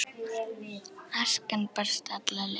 Askan barst alla leið til